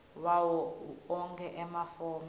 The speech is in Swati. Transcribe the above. wawo onkhe emafomu